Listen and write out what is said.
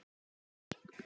Var það annar Magni?